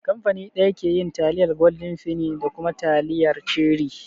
Kamfani ɗaya ke yin taliyar gwaldin feni da kuma taliyar cherie